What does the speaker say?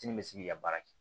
Kini bɛ se k'i ka baara kɛ